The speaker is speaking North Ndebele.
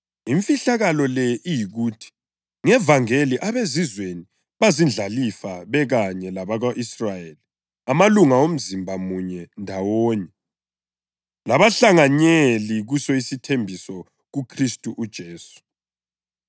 Imfihlakalo le iyikuthi ngevangeli abeZizweni bazindlalifa bekanye labako-Israyeli, amalunga omzimba munye ndawonye, labahlanganyeli kuso isithembiso kuKhristu uJesu.